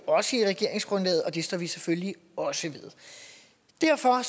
også i regeringsgrundlaget og det står vi selvfølgelig også ved derfor